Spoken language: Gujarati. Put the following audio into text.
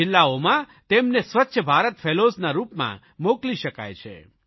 જિલ્લાઓમાં તેમને સ્વચ્છ ભારત ફેલોઝના રૂપમાં મોકલી શકાય છે